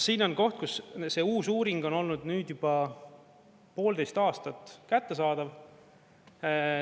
Siin on koht, kus see uus uuring on olnud nüüd juba poolteist aastat kättesaadav.